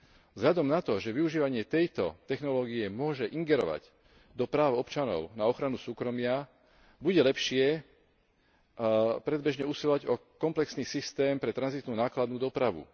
Vzhľadom na to, že využívanie tejto technológie môže ingerovať do práv občanov na ochranu súkromia, bude lepšie predbežne usilovať o komplexný systém pre tranzitnú nákladnú dopravu.